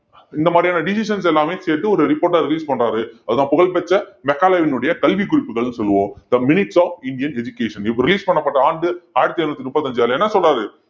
இந்த மாதிரியான decisions எல்லாமே சேர்த்து ஒரு report ஆ release பண்றாரு அதுதான் புகழ்பெற்ற மெக்காலேவினுடைய கல்விக் குறிப்புகள்னு சொல்லுவோம் the minutes of Indian education இப்ப release பண்ணப்பட்ட ஆண்டு ஆயிரத்தி எழுநூத்தி முப்பத்தி அஞ்சு அதுல என்ன சொல்றாரு